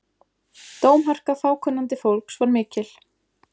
Dómharka fákunnandi fólks var mikil.